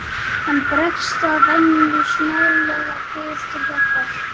Hann bregst að venju snarlega við til hjálpar.